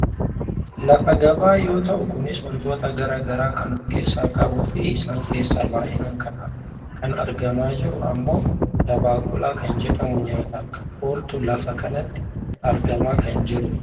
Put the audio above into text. Lafa gabaa yoo ta'u kunis wantoota gara garaa kan of keessaa qabuufi isaan keessaa baayyinaan kan argamaa jiru ammoo dabaqula kan jedhamu nyaataaf kan oolutu lafa kanatti argamaa kan jirudha.